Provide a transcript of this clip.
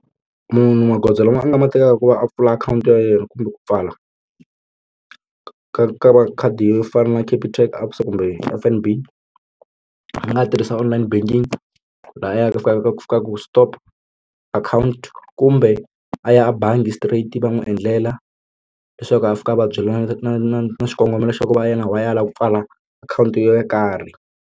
Munhu magoza lama a nga ma tekaka ku va a pfula akhawunti ya yena kumbe ku pfala ka ka ka makhadi yo fana na Capitec ABSA kumbe F_N_B a nga tirhisa online banking lahayani a fika a ku stop akhawunti kumbe a ya a bangi straight va n'wi endlela leswaku a fika a va byela na na na xikongomelo xa ku va yena why a lava ku pfala akhawunti yo karhi.